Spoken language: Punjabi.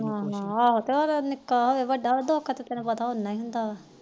ਨਾ ਨਾ ਨਿੱਕਾ ਹੋਵੇ ਜਾ ਵੱਡਾ ਦੁਖ ਦਾ ਉਨਾ ਹੁੰਦਾ